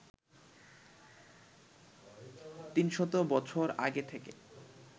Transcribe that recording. তিনশত বছর আগে থেকে